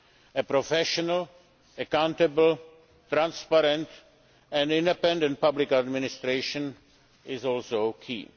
A professional, accountable, transparent and independent public administration is also key.